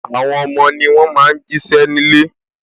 Àwọn ọmọ ni wọn máa ń jí ṣẹ́ ní ilé